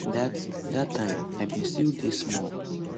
dat dat time i bin still dey small